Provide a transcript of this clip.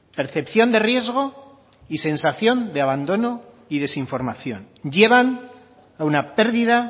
percepción de riesgo y sensación de abandono y desinformación llevan a una pérdida